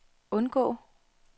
undgå